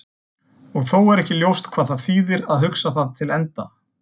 Og þó er ekki ljóst hvað það þýðir að hugsa það til enda.